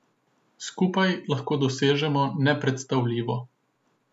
Skupaj lahko dosežemo nepredstavljivo.